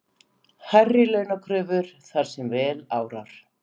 Hærri launakröfur þar sem vel árar